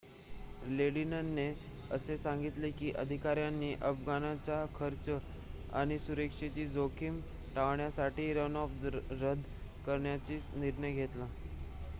लेडिनने असेही सांगितले की अधिकाऱ्यांनी अफगाणचा खर्च आणि सुरक्षेची जोखीम टाळण्यासाठी रनऑफ रद्द करण्याचा निर्णय घेतला